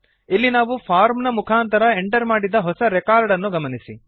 ಇಲ್ಲಿ ನಾವು ಫಾರ್ಮ್ ನ ಮುಖಾಂತರ ಎಂಟರ್ ಮಾಡಿದ ಹೊಸ ರೆಕಾರ್ಡ್ ಅನ್ನು ಗಮನಿಸಿ